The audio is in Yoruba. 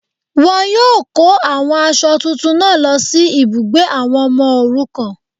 Wọn yíò kó àwọn aṣọ tuntun náà lọ sí ibùgbé àwọn ọmọ òrukàn